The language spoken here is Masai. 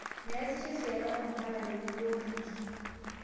Measisho esiana oo mpala tenebo olinki